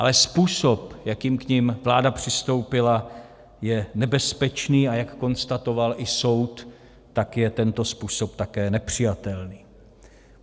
Ale způsob, jakým k nim vláda přistoupila, je nebezpečný, a jak konstatoval i soud, tak je tento způsob také nepřijatelný.